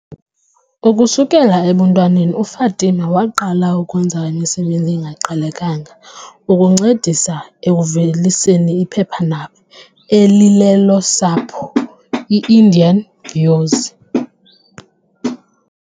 Ukusukela ebuntwaneni uFatima waqala ukwenza imisebenzi engaqhelekanga ukuncedisa ekuveliseni iphephandaba elilelolosapho, i-Indian Views.